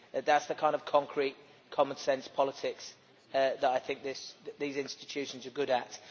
That is the kind of concrete, common sense politics that I think these institutions are good at.